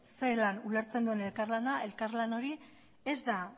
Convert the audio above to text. zelan ulertzen duen elkarlana elkarlan hori